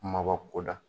Kumaba ko da